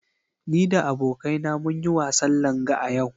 Ni da abokaina mun yi wasan Langa a yau.